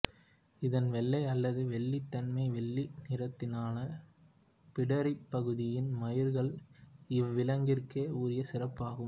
இதன் வெள்ளை அல்லது வெள்ளி தனிமம்வெள்ளி நிறத்திலான பிடரிப் பகுதியின் மயிர்கள் இவ்விலங்கிற்கே உரிய சிறப்பாகும்